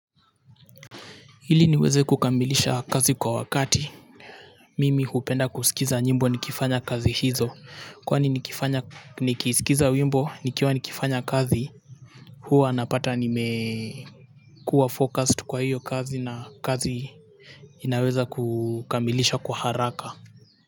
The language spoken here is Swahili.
Ili niweze kukamilisha kazi kwa wakati mimi hupenda kusikiza nyimbo nikifanya kazi hizo kwani nikifanya nikisikiza wimbo nikiwa nikifanya kazi huwa anapata nime kuwa focused kwa hiyo kazi na kazi. Ninaweza kukambilisha kwa haraka.